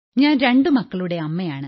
ഞാൻ രണ്ടു മക്കളുടെ അമ്മയാണ്